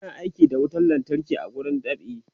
ana aiki da wutan lantarki a wurin dab'i